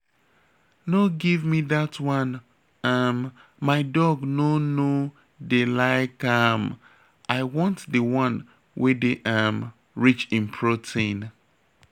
No give me dat one um my dog no no dey like am. I want the wan wey dey um rich in protein